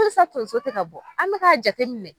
Halisa tonso tɛ ka bɔ, an me k'a jate minɛ.